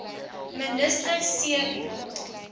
minister c b